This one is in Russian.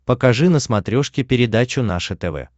покажи на смотрешке передачу наше тв